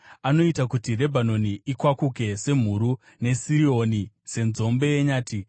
Anoita kuti Rebhanoni ikwakuke semhuru, neSirioni senzombe yenyati.